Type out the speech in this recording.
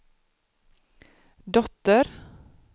dotter